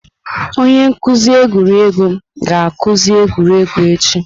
Onye nkuzi egwuregwu ga-akụzi egwuregwu echi.